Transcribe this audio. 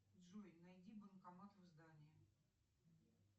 джой найди банкомат в здании